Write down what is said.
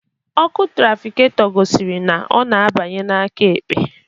Ọkụ trafikato gosiri na ọ na abanye n'aka ekpe